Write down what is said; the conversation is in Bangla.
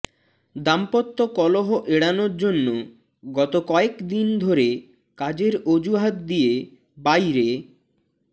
দাম্পত্য কলহ এড়ানোর জন্য গত কয়েকদিন ধরে কাজের অজুহাত দিয়ে বাইরে